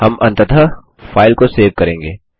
हम अन्ततः फाइल को सेव करेंगे